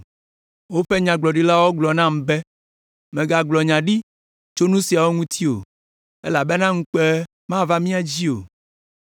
Woƒe Nyagblɔɖilawo gblɔ nam be: “Mègagblɔ nya ɖi tso nu siawo ŋuti o elabena ŋukpe mava mía dzi o.”